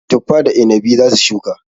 Tuffa da inabi za su shuka.